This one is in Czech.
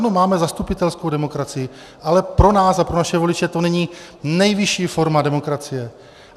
Ano, máme zastupitelskou demokracii, ale pro nás a pro naše voliče to není nejvyšší forma demokracie.